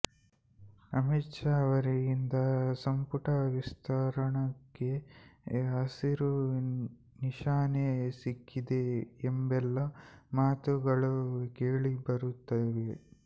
ಅಮಿತ್ ಶಾ ಅವರಿಂದ ಸಂಪುಟ ವಿಸ್ತರಣೆಗೆ ಹಸಿರು ನಿಶಾನೆ ಸಿಕ್ಕಿದೆ ಎಂಬೆಲ್ಲಾ ಮಾತುಗಳು ಕೇಳಿಬರುತ್ತಿವೆ